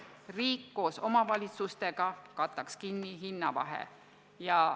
Riik koos omavalitsustega maksaks kinni hinnavahe.